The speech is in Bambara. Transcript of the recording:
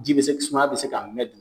Ji be se sumaya be k'a mɛ de